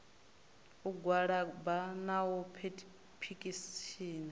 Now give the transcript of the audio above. u gwalaba na u phethishina